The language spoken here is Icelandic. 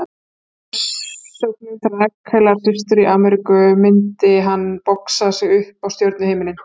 Í heimsókn til Rakelar systur í Ameríku myndi hann boxa sig upp á stjörnuhimininn.